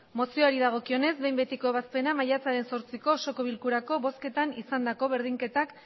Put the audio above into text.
mozioari dagokionez behin betiko ebaztea maiatzaren zortziko osoko bilkurako bozketan izandako berdinketak